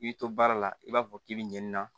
I bɛ to baara la i b'a fɔ k'i bɛ ɲɛnini na